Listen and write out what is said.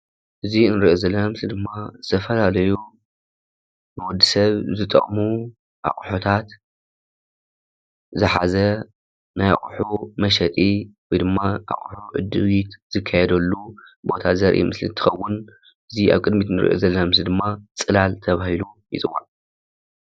እዚ እንርእዮ ዘለና ምስሊ ድማ ዝተፈላለዮ ንወዲ ሰብ ዝጠቅሙ ኣቑሑታት ዝሓዘ ናይ ኣቑሑ መሸጢ ወይ ዳማ ኣቑሑት ምርኢት ዝካየደሉ ቦታ ዘርኢ ምሰሊ እንትኸውን እዚ ኣብ ቅድሚት እንርእዮ ዘለና ምስሊ ድማ ፅላል ተባሂሉ ይፅዋዕ።